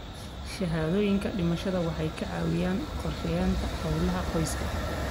Shahaadooyinka dhimashada waxay ka caawiyaan qorsheynta hawlaha qoyska.